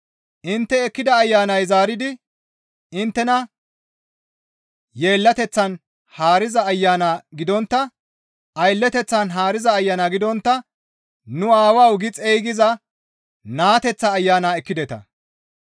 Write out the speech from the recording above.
Intte ekkida Ayanay zaaridi inttena aylleteththan haariza ayana gidontta «Nu Aawawu» gi xeygisiza naateteththa Ayana ekkideta.